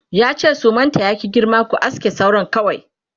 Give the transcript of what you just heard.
yace da su sumanta ya ki girma"ku aske sauran kawai!"